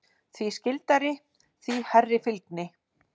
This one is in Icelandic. Því skyldari, því hærri fylgni.